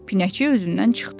Pinəçi özündən çıxdı.